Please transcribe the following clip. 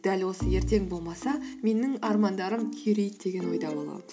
дәл осы ертең болмаса менің армандарым күйрейді деген ойда боламыз